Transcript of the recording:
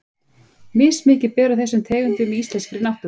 Mismikið ber á þessum tegundum í íslenskri náttúru.